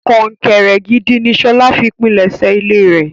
Kọ́ńkẹ́rẹ́ gídí ni Ṣọlá fi pínlesé ilẹ̀rẹ̀.